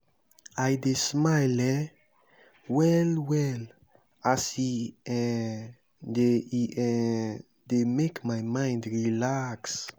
i dey smile um well-well as e um dey e um dey make my mind relax.